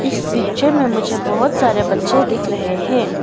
इस पिक्चर में मुझे बहुत सारे बच्चे दिख रहे हैं।